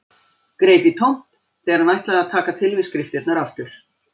Greip í tómt þegar hann ætlaði að taka til við skriftirnar aftur.